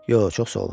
Yox, çox sağ olun.